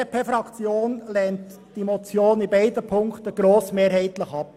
Die BDP-Fraktion lehnt die Motion in beiden Punkten grossmehrheitlich ab.